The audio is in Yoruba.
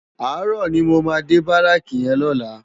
Àárò ni mó má dé báráki yèn lòlá